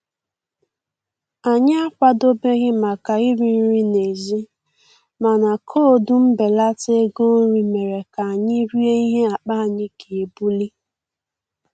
Anyị akwadobeghị maka iri nri n'èzí, mana koodu mbelata ego nri mere ka anyị rie ihe akpa anyị ga-ebuli